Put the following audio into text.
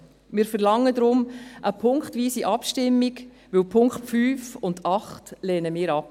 Wir verlangen deshalb eine punktweise Abstimmung, denn die Punkte 5 und 8 lehnen wir ab.